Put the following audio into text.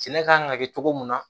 Sɛnɛ kan ka kɛ cogo min na